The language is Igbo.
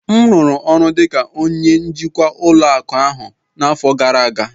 m rụrụ ọrụ dị ka onye njikwa ụlọ akụ ahụ n'afọ gara aga